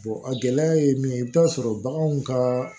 a gɛlɛya ye mun ye i bi taa sɔrɔ baganw ka